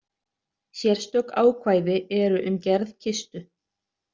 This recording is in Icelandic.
Sérstök ákvæði eru um gerð kistu.